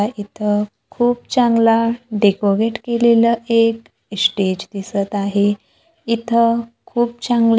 इथं खूप चांगला डेकोरेट केलेलं एक स्टेज दिसतं आहे. इथं खूप चांगले--